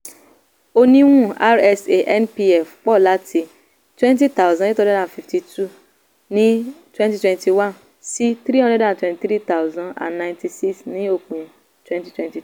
oníwun rsa npf pensions pọ̀ láti twenty thousand eight hundred and fifty two ní twenty twenty one sí three hundred and twenty three thousand and ninety six ní òpin twenty twenty two.